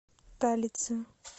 талице